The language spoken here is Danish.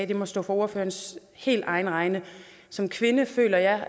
det må stå for ordførerens helt egen regning som kvinde føler jeg